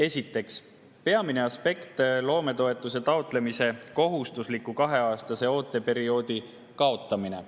Esiteks, peamine aspekt on loometoetuse taotlemisel kohustusliku kaheaastase ooteperioodi kaotamine.